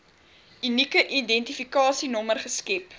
unieke identifikasienommer geskep